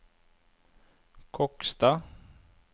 Kokstad